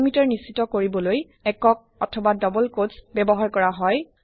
delimiter নিশ্চিত কৰিবলৈ ছিংলে অথবা ডাবল কোটছ ব্যৱহাৰ কৰা হয়